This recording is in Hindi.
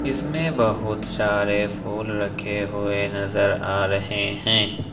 इसमें बहुत सारे फूल रखे हुए नजर आ रहे है।